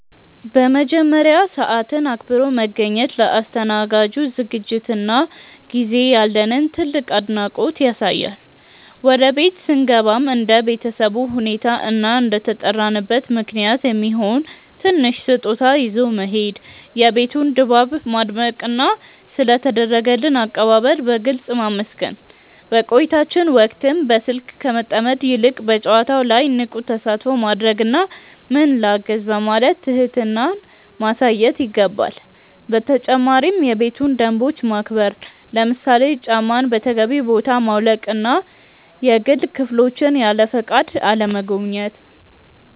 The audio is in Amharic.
በመጀመሪያ፣ ሰዓትን አክብሮ መገኘት ለአስተናጋጁ ዝግጅትና ጊዜ ያለንን ትልቅ አድናቆት ያሳያል። ወደ ቤት ስንገባም እንደ ቤተሰቡ ሁኔታ እና እንደተጠራንበት ምክንያት የሚሆን ትንሽ ስጦታ ይዞ መሄድ፣ የቤቱን ድባብ ማድነቅና ስለ ተደረገልን አቀባበል በግልጽ ማመስገን። በቆይታችን ወቅትም በስልክ ከመጠመድ ይልቅ በጨዋታው ላይ ንቁ ተሳትፎ ማድረግና "ምን ላግዝ?" በማለት ትህትናን ማሳየት ይገባል። በተጨማሪም የቤቱን ደንቦች ማክበር፣ ለምሳሌ ጫማን በተገቢው ቦታ ማውለቅና የግል ክፍሎችን ያለፈቃድ አለመጎብኘት።